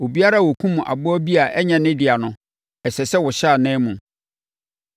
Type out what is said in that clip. Obiara a ɔkum aboa bi a ɛnyɛ ne dea no, ɛsɛ sɛ ɔhyɛ ananmu.